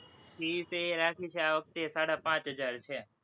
fees એ રાખી છે, આ વખતે સાડા પાંચ હજાર છે,